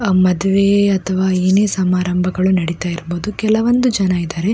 ಆ ಮಾಡುವೆ ಅಥವಾ ಏನೆ ಸಮಾರಂಭಗಳು ನಡೀತಾ ಇರಬಹುದು ಕೆಲವೊಂದು ಇದ್ದಾರೆ.